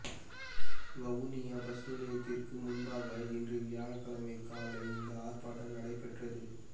Vavuniya bus நிலையத்திற்கு முன்பாக இன்று வியாழக்கிழமை காலை இந்த ஆர்ப்பாட்டம் நடைபெற்றது